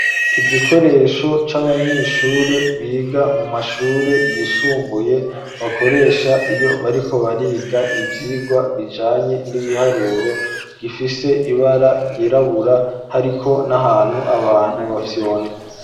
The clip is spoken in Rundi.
Igikoresho c'abanyeshure biga mu mashure yisumbuye bakoresha iyo bariko bariga ivyigwa bijanye n'ibiharuro gifise ibara ryirabura hariko n'ahantu abantu bafyonda.